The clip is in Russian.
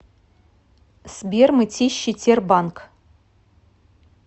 сбер мытищи тербанк